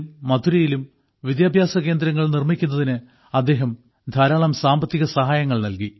മഥുരയിലും വിദ്യാഭ്യാസകേന്ദ്രങ്ങൾ നിർമ്മിക്കുന്നതിന് അദ്ദേഹം ധാരാളം സാമ്പത്തികസഹായങ്ങൾ നൽകി